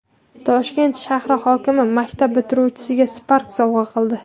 Toshkent shahar hokimi maktab bitiruvchisiga Spark sovg‘a qildi.